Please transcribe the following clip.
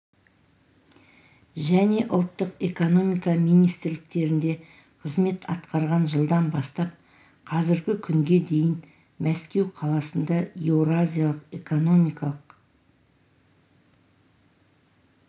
және ұлттық экономика министрліктерінде қызмет атқарған жылдан бастап қазіргі күнге дейін мәскеу қаласында еуразиялық экономикалық